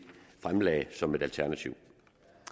fremlagde som et alternativ